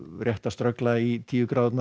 rétt að ströggla í tíu gráðurnar